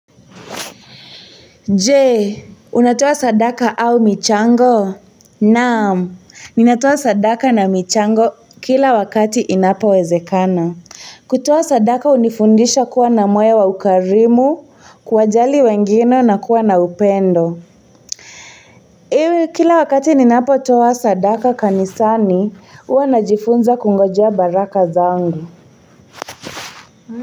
Jee, unatoa sadaka au michango? Naam, ninatoa sadaka na michango kila wakati inapo wezekana. Kutoa sadaka hunifundisha kuwa na moyo wa ukarimu, kuwajali wengine na kuwa na upendo. Iwe, kila wakati ninapo toa sadaka kanisani, huwa najifunza kungoja baraka zangu.